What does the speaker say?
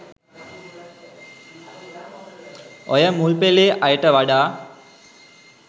ඔය මුල්පෙලේ අයට වඩා